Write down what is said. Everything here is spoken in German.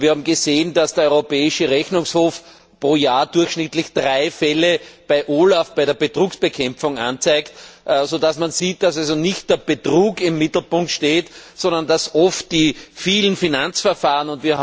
Wir haben gesehen, dass der Europäische Rechnungshof pro Jahr durchschnittlich drei Fälle bei der Betrugsbekämpfungsstelle OLAF anzeigt, so dass man sieht, dass also nicht der Betrug im Mittelpunkt steht, sondern oft die vielen Finanzverfahren.